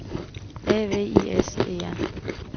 A V I S E R